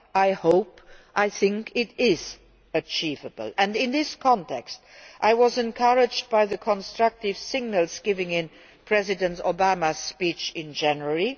I think this is achievable. In this context, I was encouraged by the constructive signals given in President Obama's speech in January.